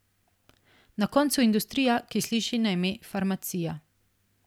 Na koncu industrija, ki sliši na ime farmacija.